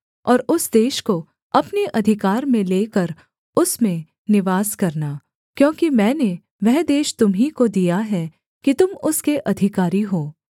और उस देश को अपने अधिकार में लेकर उसमें निवास करना क्योंकि मैंने वह देश तुम्हीं को दिया है कि तुम उसके अधिकारी हो